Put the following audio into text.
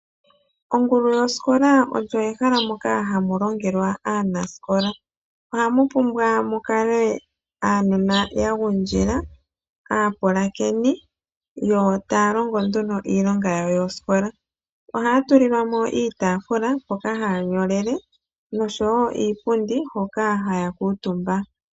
Ongulu yosikola oyo ehala moka hamu longelwa aanasikola. Ohamu pumbwa mu kale aanona ya gundjila, aapulakeni, yo taya longo nduno iilonga yawo yosikola. Ohaya tulilwa mo iitaafula, mpoka haya nyolele, noshowo iipundi hoka haya kuutumba.